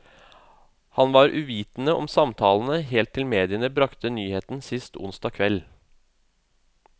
Han var uvitende om samtalene helt til mediene bragte nyheten sist onsdag kveld.